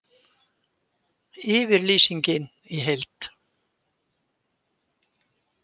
Yfirlýsingin í heild